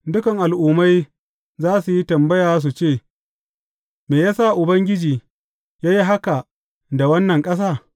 Dukan al’ummai za su yi tambaya su ce, Me ya sa Ubangiji ya yi haka da wannan ƙasa?